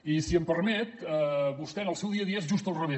i si em permet vostè en el seu dia a dia és just al revés